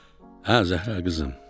"Hə, Zəhra qızım.